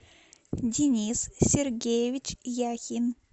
денис сергеевич яхин